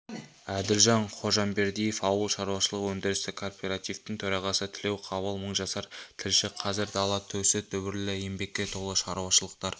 әділжан ходжамбердиев ауыл шаруашылық-өндірістік кооперативтің төрағасы тілеуқабыл мыңжасар тілші қазір дала төсі дүбірлі еңбекке толы шаруашылықтар